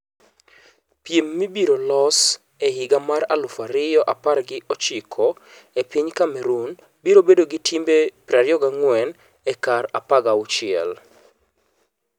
Piem mabiro los e higa mar aluf ariyo apargi ochiko e piny Cameroon biro bedo gi timbe 24 e kar 16.